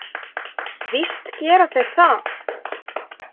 Víst gera þeir það!